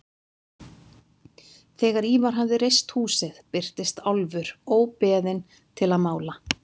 Þegar Ívar hafði reist húsið birtist Álfur óbeðinn til að mála.